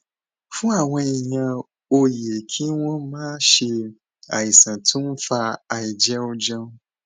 fún àwọn èèyàn ó yẹ kí wón máa ṣe àìsàn tó ń fa àìjẹújẹú